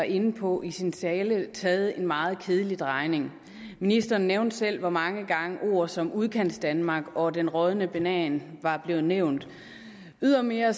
var inde på i sin tale taget en meget kedelig drejning ministeren nævnte selv hvor mange gange ord som udkantsdanmark og den rådne banan var blevet nævnt ydermere